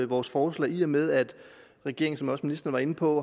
vores forslag i og med at regeringen som også ministeren var inde på